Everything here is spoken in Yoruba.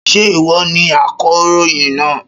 Ṣé ìwọ ni akọ̀ròyìn náà?